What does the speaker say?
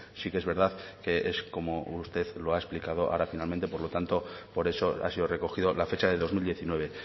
sí que es verdad que es como usted lo ha explicado ahora finalmente por lo tanto por eso ha sido recogido la fecha de dos mil diecinueve